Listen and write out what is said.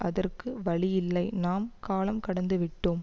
அதற்கு வழியில்லை நாம் காலம் கடந்து விட்டோம்